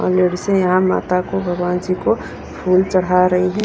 और लेडीसे यहां माता को भगवान जी को फूल चढ़ा रही है।